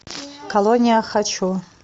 колония хочу